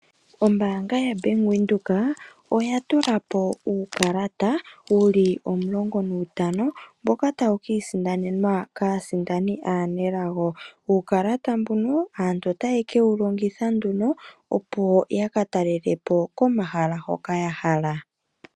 Ombaanga yaBank Windhoek oya tulapo uukalata wuli 12, mboka tawu kasindanwa kaasindani aanelago. Uukalata mbuno aantu otaye kewu longitha nduno opo yakataalelepo pomahala mpoka ya hala.